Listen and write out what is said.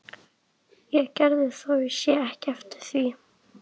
Ég gerði það og sé ekki eftir því.